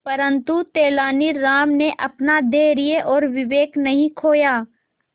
परंतु तेलानी राम ने अपना धैर्य और विवेक नहीं खोया